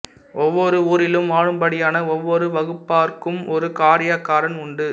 ஒவ்வொரு ஊரிலும் வாழும்படியான ஒவ்வொரு வகுப்பாருக்கும் ஒரு காரியக்காரன் உண்டு